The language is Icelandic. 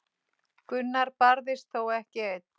Gunnar barðist þó ekki einn.